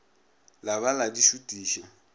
la ba la di šutiša